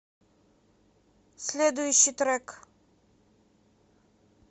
следующий трек